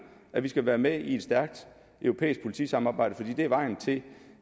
at vi skal være med i et stærkt europæisk politisamarbejde fordi det er vejen til